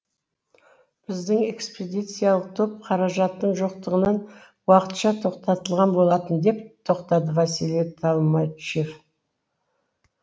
біздің экспедициялық топ қаражаттың жоқтығынан уақытша тоқтатылған болатын деп тоқтады василий толмачев